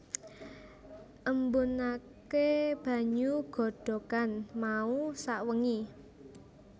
Embunaké banyu godhogan mau sawengi